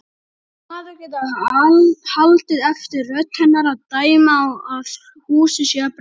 Maður getur haldið eftir rödd hennar að dæma að húsið sé að brenna.